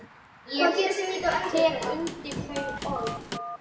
Ég tek undir þau orð.